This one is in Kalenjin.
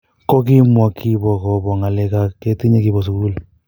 Ko kimwa kibo kobo ng�alekak ketinye kibo sugul.